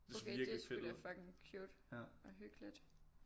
Det så virkelig fedt ud